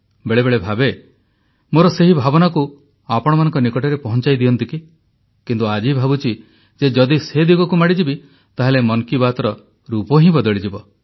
ବେଳେବେଳେ ଭାବେ ମୋର ସେହି ଭାବନାକୁ ଆପଣମାନଙ୍କ ନିକଟରେ ପହଂଚାଇ ଦିଅନ୍ତି କି କିନ୍ତୁ ଆଜି ଭାବୁଛି ଯେ ଯଦି ସେ ଦିଗକୁ ମାଡ଼ିଯିବି ତାହେଲେ ମନ୍ କି ବାତ୍ର ରୂପ ହିଁ ବଦଳିଯିବ